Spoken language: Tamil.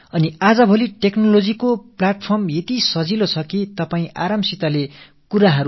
தொழில்நுட்பம் மிகவும் எளிமையாக ஆகியிருக்கும் இன்றைய காலகட்டத்தில் நீங்கள் மிக சுலபமாக விஷயங்களை என்னிடம் அனுப்பி வைக்கலாம்